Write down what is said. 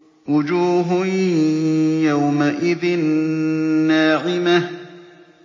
وُجُوهٌ يَوْمَئِذٍ نَّاعِمَةٌ